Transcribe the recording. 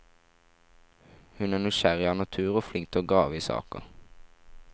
Hun er nysgjerrig av natur og flink til å grave i saker.